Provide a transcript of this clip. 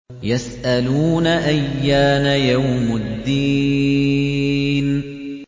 يَسْأَلُونَ أَيَّانَ يَوْمُ الدِّينِ